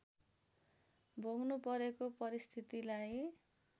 भोग्नु परेको परिस्थितिलाई